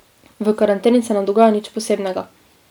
V karanteni se ne dogaja nič posebnega.